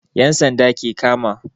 yan'sanda ke kama.